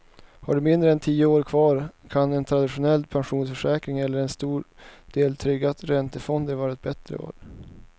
Har du mindre än tio år kvar kan en traditionell pensionsförsäkring eller en stor del trygga räntefonder vara ett bättre val.